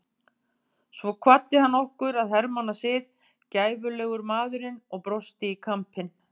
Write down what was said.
Svo kvaddi hann okkur að hermannasið, gæfulegur maðurinn og brosti í kampinn.